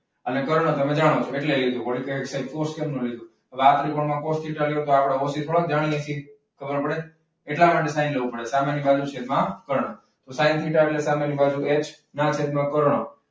અને કર્ણ તમે જાણો છો. હવે આ ત્રિકોણમાં કોસ થીટા લઈએ તો આપણે ઓછી થોડા જાણીએ છીએ. તો આપણે એટલા માટે સાઈન લેવું પડે સામેની બાજુ છેદમાં કર્ણ. તો સાઈન થીટા એટલે સામેની બાજુ એચ અને છેદમાં કર્ણ.